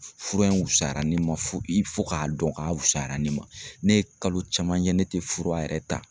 Fura in wusara ne ma fo i fo k'a dɔn k'a wusayara ne ma, ne ye kalo caman kɛ ne tɛ fura yɛrɛ ta.